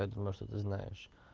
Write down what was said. я думаю что ты знаешь